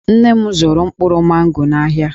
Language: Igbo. Nne m zụrụ mkpụrụ mango n'ahịa.